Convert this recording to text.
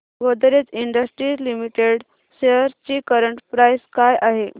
Godrej industries limited shares ची current price काय आहे